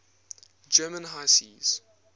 german high seas